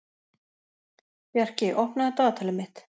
Bjarki, opnaðu dagatalið mitt.